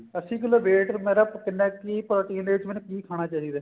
ਅੱਸੀ kilo weight ਮੇਰਾ ਕਿੰਨਾ ਕੀ protein ਦੇ ਵਿੱਚ ਕੀ ਖਾਣਾ ਚਾਹੀਦਾ